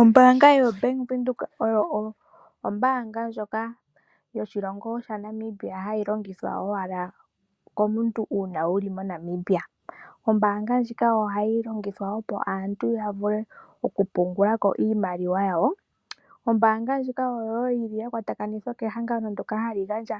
Ombaanga yoBAnk Windhoek oyo ombaanga ndjoka yoshilongo shaNamibia hayi longithwa owala komuntu uuna wu li moNamibia. Ombaanga ndjika ohayi longithwa opo omuntu wu vule okupungula ko iimaliwa yoye. Ombaanga ndjika oyo wo ya ninga euvathanotsokumwe nehangano ndyoka hali gandja